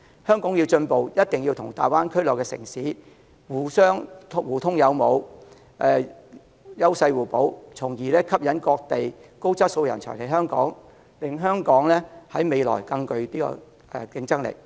香港要進步，一定要與大灣區內城市互通有無，優勢互補，從而吸引各地高質素人才來港，令香港的未來更具競爭力。